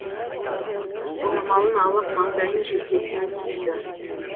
орамалын алып маңдайын желкесін сүртті